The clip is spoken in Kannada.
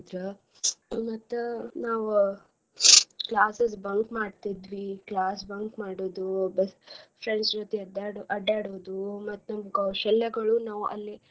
ಮತ್ತ ನಾವ್ classes bunk ಮಾಡ್ತಿದ್ವಿ class bunk ಮಾಡೋದು. friends ಜೊತೆ ಅಡ್ಯಾಡ್~ ಅಡ್ಯಾಡೊದು ಮತ್ತ್ ನಮ್ ಕೌಶಲ್ಯಗಳು ನಾವ್ ಅಲ್ಲಿ.